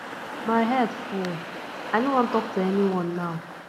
my head full i no wan talk to anyone now